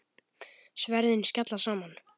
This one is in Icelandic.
Sverðin skella saman.